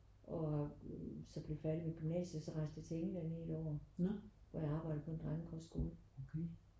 Og har så blev færdig med gymnasiet og så rejste jeg til England i et år hvor jeg arbejdede på en kostskole